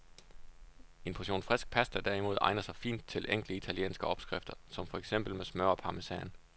En portion frisk pasta derimod egner sig fint til enkle italienske opskrifter, som for eksempel med smør og parmesan.